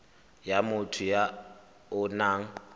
ya motho ya o nang